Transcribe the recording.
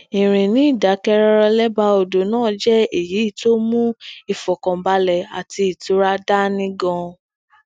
ìrìn ni idakẹrọrọ lébàá odò náà jẹ eyi to mu ifọkanbalẹ ati itura da ni gan an